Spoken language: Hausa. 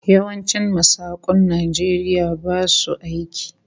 Yawancin masakun Najeriya basu aiki